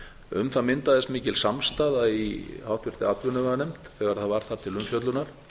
um það myndaðist mikil samstaða í háttvirtri atvinnuveganefnd þegar það var þar til umfjöllunar